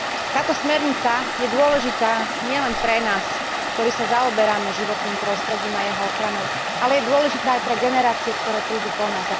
Táto smernica je dôležitá nielen pre nás, ktorí sa zaoberáme životným prostredím a jeho ochranou, ale je dôležitá aj pre generácie, ktoré prídu po nás.